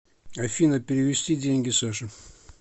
афина перевести деньги саше